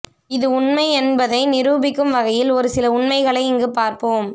இது உண்மை என்பதை நிரூபிக்கும் வகையில் ஒருசில உண்மைகளை இங்குப் பார்ப்போம்